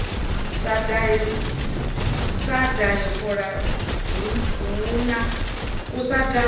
sa dahe fola hu na